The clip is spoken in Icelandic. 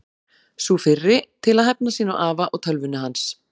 Sú fyrri: Til að hefna sín á afa og tölvunni hans.